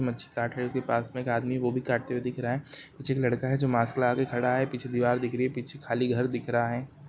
मच्छी काट रहे है उसके पास में एक व्यक्ति वो भी काट दिख रहा है एक लड़का है जो मास्क लगा कर खड़ा है पीछे दीवार दिख रही है पीछे खाली घर दिख रहा है ।